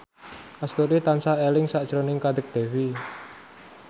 Astuti tansah eling sakjroning Kadek Devi